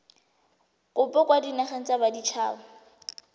kopo kwa dinageng tsa baditshaba